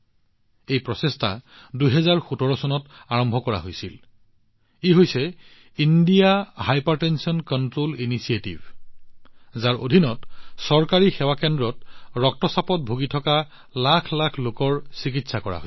এই প্ৰচেষ্টা ২০১৭ চনত আৰম্ভ কৰা হৈছিল ইণ্ডিয়া হাইপাৰটেনচন কণ্ট্ৰোল ইনিচিয়েটিভ যাৰ অধীনত চৰকাৰী সেৱা কেন্দ্ৰত ৰক্তচাপৰ সমস্যাত ভুগি থকা লাখ লাখ লোকৰ চিকিৎসা কৰা হৈছে